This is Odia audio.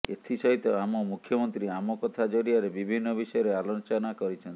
ଏଥି ସହିତ ଆମ ମୁଖ୍ୟମନ୍ତ୍ରୀ ଆମ କଥା ଜରିଆରେ ବିଭିନ୍ନ ବିଷୟରେ ଆଲୋଚନା କରିଛନ୍ତି